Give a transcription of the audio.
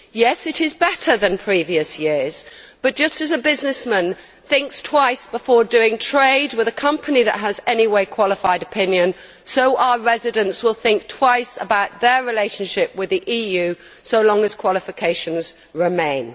Yes, it is better than previous years, but just as a businessman thinks twice before doing trade with a company that has in any way a qualified opinion, so our residents will think twice about their relationship with the EU so long as qualifications remain.